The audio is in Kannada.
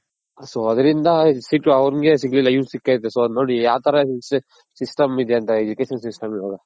so ಅದ್ರಿಂದ ಅವನ್ಗೆ ಸಿಕ್ಲಿಲ್ಲ ಇವನ್ಗ್ ಸಿಕೈತೆ so ನೋಡಿ ಯಾವ ತರ system ಇದೆ ಅಂತ Education system ಇವಾಗ